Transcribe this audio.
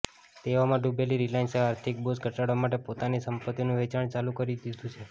દેવામાં ડુબેલી રિલાયન્સે આર્થિક બોઝ ઘટાડવા માટે પોતાની સંપત્તીઓનું વેચાણ ચાલુ કરી દીધું છે